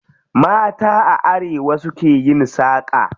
Mata a arewa su ke yin saƙa.